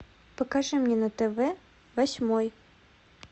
покажи мне на тв восьмой